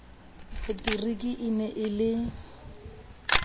materiki e ne e le